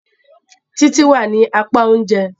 Títí wá ní apá oúnjẹ.